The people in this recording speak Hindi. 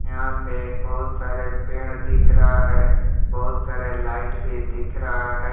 यहां पे बहुत सारे पेड़ दिख रहा है बहुत सारे लाइट भी दिख रहा है।